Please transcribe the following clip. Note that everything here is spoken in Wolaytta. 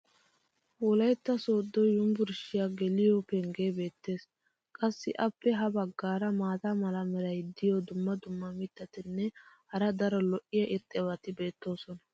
wolaytta soodo yunbburshshiya geliyo pengee beetees. qassi appe ya bagaara maata mala meray diyo dumma dumma mitatinne hara daro lo'iya irxxabati beetoosona.